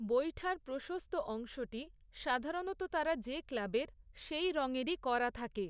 বৈঠার প্রশস্ত অংশটি, সাধারণত তারা যে ক্লাবের, সেই রংয়ের করা থাকে।